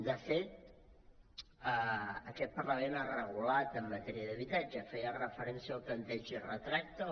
de fet aquest parlament ha regulat en matèria d’habitatge feia referència al tanteig i retracte